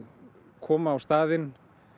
koma á staðinn